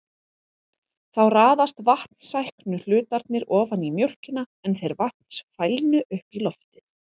Þá raðast vatnssæknu hlutarnir ofan í mjólkina en þeir vatnsfælnu upp í loftið.